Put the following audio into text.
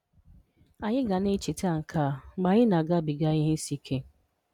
Anyị ga na echeta nke a mgbe anyị na-agabiga ihe isi ike.